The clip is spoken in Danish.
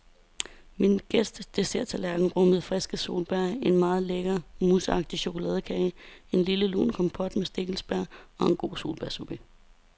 Min gæsts desserttallerken rummede friske solbær, en meget lækker, mousseagtig chokoladekage, en lille lun kompot med stikkelsbær og en god solbærsorbet.